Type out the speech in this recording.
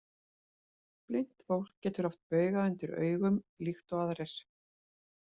Blint fólk getur haft bauga undir augum líkt og aðrir.